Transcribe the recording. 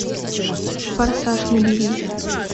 форсаж набери